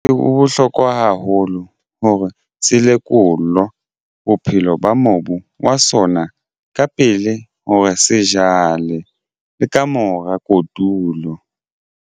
Ho bohlokwa haholo hore selekolo bophelo ba mobu wa sona ka pele hore se jale le ka mora kotulo.